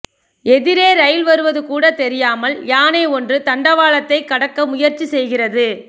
எதிரே ரயில் வருவது கூட தெரியாமல் யானை ஒன்று தண்டவாளத்தை கடக்க முயற்சி செய்கிறது